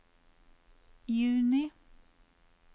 juni